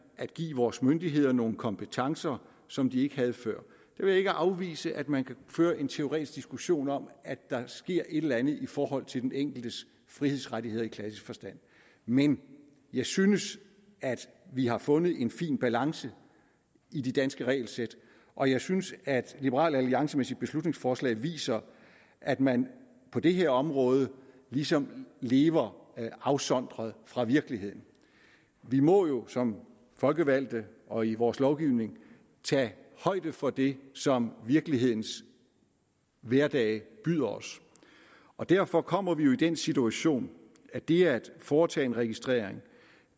at give vores myndigheder nogle kompetencer som de ikke havde før jeg vil ikke afvise at man kan føre en teoretisk diskussion om at der sker et eller andet i forhold til den enkeltes frihedsrettigheder i klassisk forstand men jeg synes at vi har fundet en fin balance i de danske regelsæt og jeg synes at liberal alliance med sit beslutningsforslag viser at man på det her område ligesom lever afsondret fra virkeligheden vi må jo som folkevalgte og i vores lovgivning tage højde for det som virkelighedens hverdage byder os og derfor kommer vi jo i den situation at det at foretage en registrering at